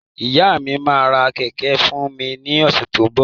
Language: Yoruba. Ìyá mi máa ra kẹ̀kẹ́ fún mi ní ọ̀sẹ̀ tó ń bọ̀.